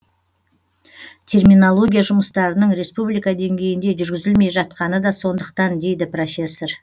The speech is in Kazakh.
терминология жұмыстарының республика деңгейінде жүргізілмей жатқаны да сондықтан дейді профессор